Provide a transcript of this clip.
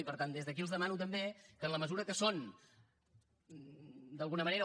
i per tant des d’aquí els demano també que en la mesura que són d’alguna manera